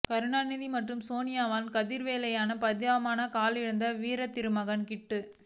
கருணாநிதி மற்றும் சோனியாவின் சதிவேலையால் பரிதாபமாக கால் இழந்தார் வீரதிருமகன் கிட்டு